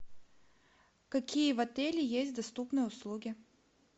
какие в отеле есть доступные услуги